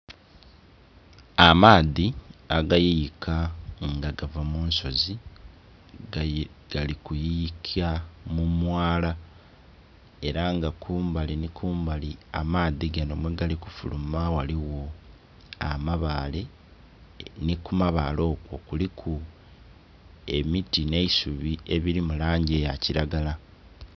Amaadhi agayuyika nga gava munsozi gali kuyuyika mumwala era nga kumbali ni kumbali amaadhi gano mwegali kufuluma ghaligho amabaale ni kumabaale okwo kuliku emiti n'eisubi ebiri mulangi eyakiragala.